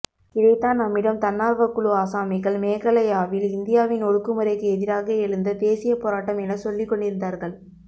இதைத்தான் நம்மிடம் தன்னார்வக்குழு ஆசாமிகள் மேகாலயாவில் இந்தியாவின் ஒடுக்குமுறைக்கு எதிராக எழுந்த தேசிய போராட்டம் என சொல்லிக்கொண்டிருந்தார்கள்